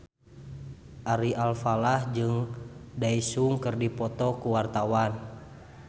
Ari Alfalah jeung Daesung keur dipoto ku wartawan